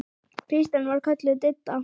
Kristín var kölluð Didda.